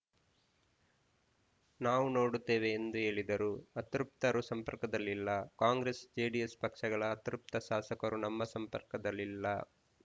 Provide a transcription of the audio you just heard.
ನಾವೂ ನೋಡುತ್ತೇವೆ ಎಂದು ಹೇಳಿದರು ಅತೃಪ್ತರು ಸಂಪರ್ಕದಲ್ಲಿ ಇಲ್ಲ ಕಾಂಗ್ರೆಸ್‌ಜೆಡಿಎಸ್‌ ಪಕ್ಷಗಳ ಅತೃಪ್ತ ಶಾಸಕರು ನಮ್ಮ ಸಂಪರ್ಕದಲ್ಲಿಲ್ಲ